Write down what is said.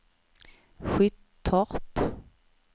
Skyttorp